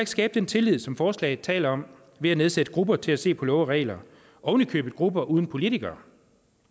skabe den tillid som forslaget taler om ved at nedsætte grupper til at se på love og regler ovenikøbet grupper uden politikere